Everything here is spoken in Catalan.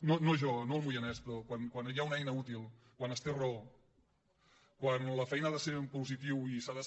no jo no el moianès però quan hi ha una eina útil quan es té raó quan la feina ha de ser en positiu i s’ha de